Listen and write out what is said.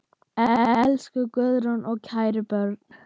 Elsku Guðrún og kæru börn.